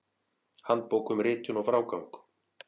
Handbók um ritun og frágang.